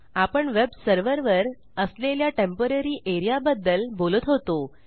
आपण वेब सर्व्हरवर असलेल्या टेम्पोररी एआरईए बद्दल बोलत होतो